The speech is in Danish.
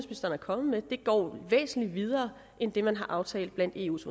kommet med går væsentlig videre end det man har aftalt blandt eus